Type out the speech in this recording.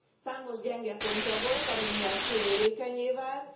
Számos gyenge pontja volt, ami miatt sérülékennyé vált.